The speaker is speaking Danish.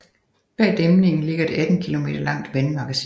Bag dæmningen ligger et 18 kilometer langt vandmagasin